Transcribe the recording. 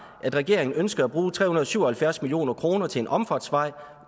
at regeringen ønsker at bruge tre hundrede og syv og halvfjerds million kroner til en omfartsvej